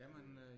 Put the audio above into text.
Mh